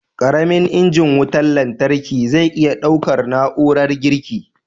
Ƙaramin injin wutan lantarkin zai iya ɗaukar na'urar girki??